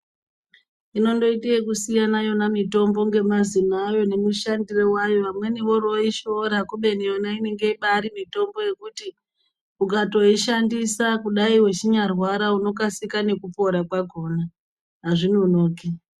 Inondoite kusiyana yona mitombo ngemazina ayo nemushandiro wayo, vamweni voroishora kubeni yona inenge bari mitombo yekuti ukatoishandisa kudai uchinyarwara unokasika nekupora kwakona hazvinonoki.